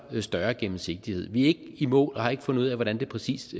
større gennemsigtighed vi er ikke i mål og har ikke fundet ud af hvordan det præcis